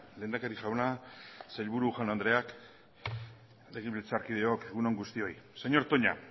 lehendakari jauna sailburu jaun andreak legebiltzarkideok egun on guztioi señor toña